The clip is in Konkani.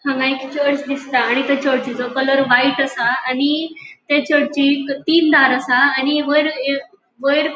हांगा एक चर्च दिसता आणि त्या चर्चचो कलर व्हाइट आसा आणि ते चर्चिक तीन दार आसा आणि वयर ह वयर --